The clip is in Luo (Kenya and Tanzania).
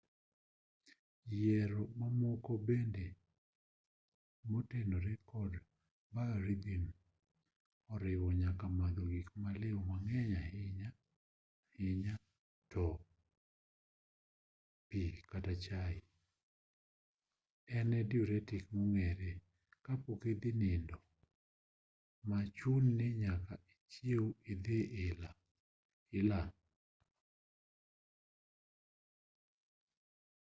yiero mamoko bende motenore kod biorhythm oriwo nyaka madho gikmaliw mang'eny ahinya ahinya pi kata chai en e diuretic mong'ere ka pok idhi nindo ma chuni ni nyaka ichiew idhi ila